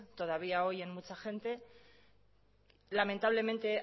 todavía hoy en mucha gente lamentablemente